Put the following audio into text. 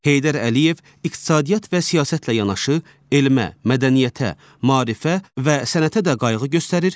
Heydər Əliyev iqtisadiyyat və siyasətlə yanaşı elmə, mədəniyyətə, maarifə və sənətə də qayğı göstərir,